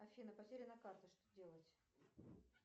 афина потеряна карта что делать